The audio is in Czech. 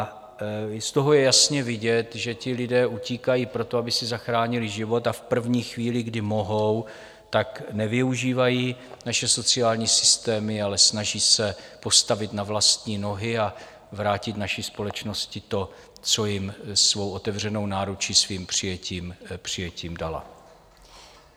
Z toho je jasně vidět, že ti lidé utíkají proto, aby si zachránili život, a v první chvíli, kdy mohou, tak nevyužívají naše sociální systémy, ale snaží se postavit na vlastní nohy a vrátit naší společnosti to, co jim svou otevřenou náručí, svým přijetím dala.